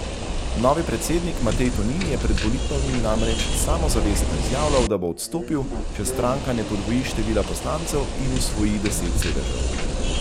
Novi predsednik Matej Tonin je pred volitvami namreč samozavestno izjavljal, da bo odstopil, če stranka ne podvoji števila poslancev in osvoji deset sedežev.